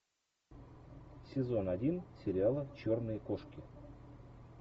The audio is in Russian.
сезон один сериала черные кошки